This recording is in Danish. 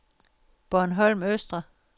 Bornholm Østre